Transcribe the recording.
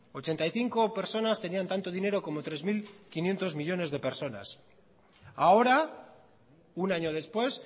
ochenta y cinco personas tenían tanto dinero como tres mil quinientos millónes de personas ahora un año después